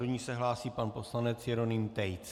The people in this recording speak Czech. Do ní se hlásí pan poslanec Jeroným Tejc.